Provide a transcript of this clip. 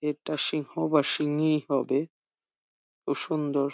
এটা সিহ বাসিনিই হবে। খুব সুন্দর।